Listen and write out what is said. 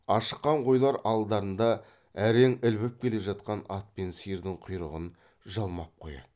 ашыққан қойлар алдарында әрең ілбіп келе жатқан ат пен сиырдың құйрығын жалмап қояды